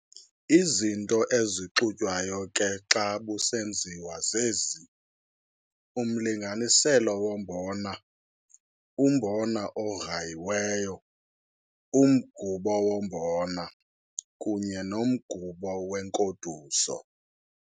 Izinto ezixutywayo ke xa busenziwa zezi - umlinganiselo wombona, umbona ograyiweyo, umgubo wombona, kunye nomgubo wenkoduso.